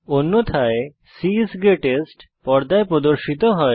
অন্যথায় c is greatest পর্দায় প্রদর্শিত হয়